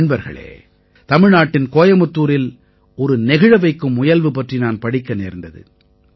நண்பர்களே தமிழ்நாட்டின் கோயமுத்தூரில் ஒரு நெகிழ வைக்கும் முயல்வு பற்றி நான் படிக்க நேர்ந்தது